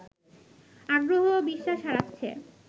আগ্রহ এবং বিশ্বাস হারাচ্ছে